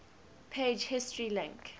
page history link